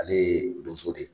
Ale ye donso de ye.